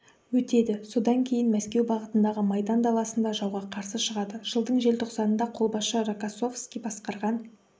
өтеді содан кейін мәскеу бағытындағы майдан даласында жауға қарсы шығады жылдың желтоқсанында қолбасшы рокоссовский басқарған